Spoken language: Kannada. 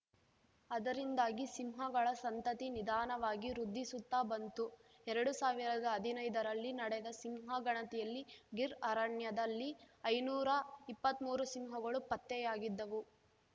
ಅದರಿಂದಾಗಿ ಸಿಂಹಗಳ ಸಂತತಿ ನಿಧಾನವಾಗಿ ವೃದ್ಧಿಸುತ್ತಾ ಬಂತು ಎರಡು ಸಾವಿರದ ಹದಿನೈದರಲ್ಲಿ ನಡೆದ ಸಿಂಹ ಗಣತಿಯಲ್ಲಿ ಗಿರ್‌ ಅರಣ್ಯದಲ್ಲಿ ಐನೂರ ಇಪ್ಪತ್ಮೂರು ಸಿಂಹಗಳು ಪತ್ತೆಯಾಗಿದ್ದವು